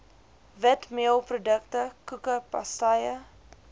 witmeelprodukte koeke pastye